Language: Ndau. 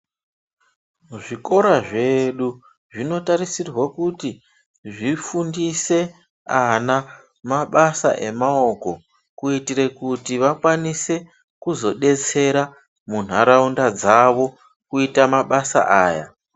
Zvikora zvedu zvinotarisirwa kuti zvifundise ana mabasa emawoko kuitire kuti vakwanise kuzodetsera muntaraunda dzavo kuita mabasa aya.